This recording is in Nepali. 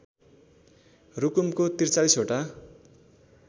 रुकुमको ४३ वटा